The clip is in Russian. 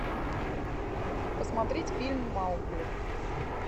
посмотреть фильм маугли